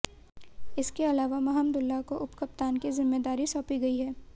इसके अलावा महमदुल्लाह को उपकप्तान की जिम्मेदारी सौंपी गई है